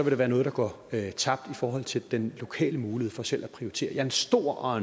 der være noget der går tabt i forhold til den lokale mulighed for selv at prioritere jeg er stor og